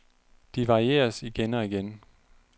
De varieres igen og igen.